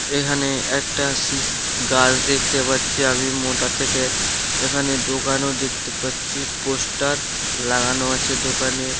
এখানে একটা শিশ্‌ গাছ দেখতে পাচ্ছি আমি মোটা থেকে। এখানে দোকানও দেখতে পাচ্ছি। পোস্টার লাগানো আছে দোকানে।